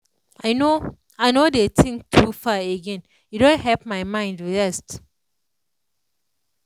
i no i no dey think too far again e don help my mind rest.